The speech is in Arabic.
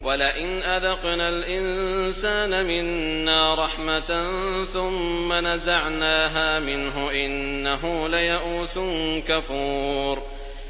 وَلَئِنْ أَذَقْنَا الْإِنسَانَ مِنَّا رَحْمَةً ثُمَّ نَزَعْنَاهَا مِنْهُ إِنَّهُ لَيَئُوسٌ كَفُورٌ